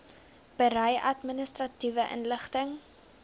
berei administratiewe inligting